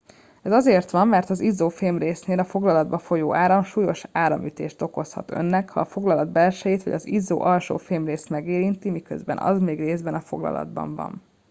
ez azért van mert az izzó fémrésznél a foglalatba folyó áram súlyos áramütést okozhat önnek ha a foglalat belsejét vagy az izzó alsó fémrészét megérinti miközben az még részben a foglalatban van